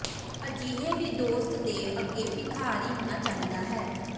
ਅਜਿਹੇ ਵੀ ਦੋਸਤ ਦੇ ਅੱਗੇ ਭਿਖਾਰੀ ਹੋਣਾ ਚਾਹੀਦਾ ਹੈ